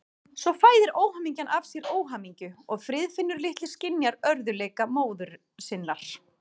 Svo fæðir óhamingjan af sér óhamingju og Friðfinnur litli skynjar örðugleika móður sinnar.